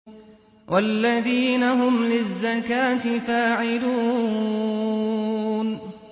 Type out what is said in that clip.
وَالَّذِينَ هُمْ لِلزَّكَاةِ فَاعِلُونَ